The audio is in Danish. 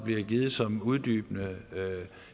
bliver givet som uddybende